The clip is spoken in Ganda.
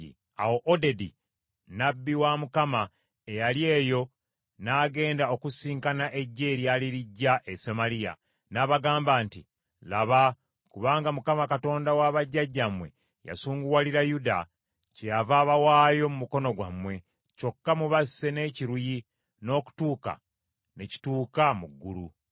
Awo Odedi nnabbi wa Mukama eyali eyo n’agenda okusisinkana eggye eryali lijja e Samaliya, n’abagamba nti, “Laba, kubanga Mukama Katonda wa bajjajjammwe yasunguwalira Yuda, kyeyava abawaayo mu mukono gwammwe, kyokka mubasse n’ekiruyi n’okutuuka ne kituuka mu ggulu.